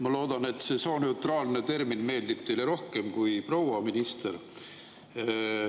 Ma loodan, et see sooneutraalne termin meeldib teile rohkem kui "proua minister".